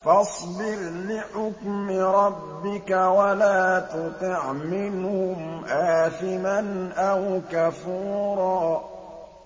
فَاصْبِرْ لِحُكْمِ رَبِّكَ وَلَا تُطِعْ مِنْهُمْ آثِمًا أَوْ كَفُورًا